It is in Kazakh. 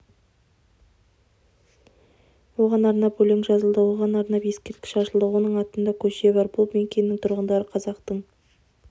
оған арнап өлең жазылды оған арнап ескерткіш ашылды оның атында көше бар бұл мекеннің тұрғындары қазақтың